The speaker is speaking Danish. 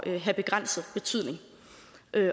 have begrænset betydning